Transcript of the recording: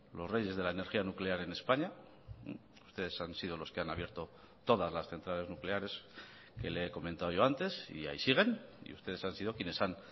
los reyes de la energía nuclear en españa ustedes han sido los que han abierto todas las centrales nucleares que le he comentado yo antes y ahí siguen y ustedes han sido quienes han